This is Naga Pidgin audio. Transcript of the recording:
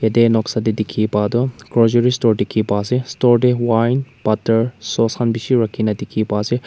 teh noksa teh dikhi pa tu groceries store dikhi pa ase Store teh wine butter source khan bishi rakhi ne dikhi pa ase.